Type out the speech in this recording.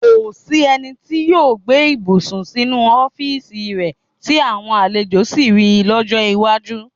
Kò sí ẹni tí yóò gbé ibùsùn sínú ọ́fíìsì rẹ tí àwọn àlejò sì ri lọ́jọ́ iwájú.